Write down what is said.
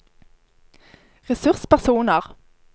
ressurspersoner